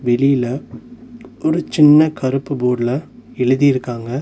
வெளில ஒரு சின்ன கருப்பு போர்டுல எழுதியிருக்காங்க.